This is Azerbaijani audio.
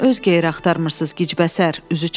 Niyə öz geyri axtarmırsınız gicbəsər?”